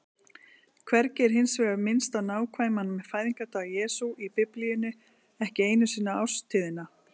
Hvergi er hins vegar minnst á nákvæman fæðingardag Jesú í Biblíunni, ekki einu sinni árstíðina.